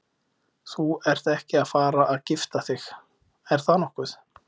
Þú ert ekki að fara að gifta þig, er það nokkuð?